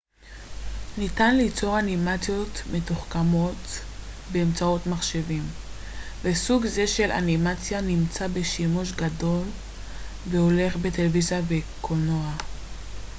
ניתן ליצור אנימציות מתוחכמות באמצעות מחשבים וסוג זה של אנימציה נמצא בשימוש גדל והולך בטלוויזיה ובקולנוע